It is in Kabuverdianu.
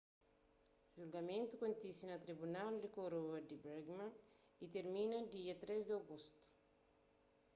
julgamentu kontise na tribunal di koroa di birmingham y tirmina dia 3 di agostu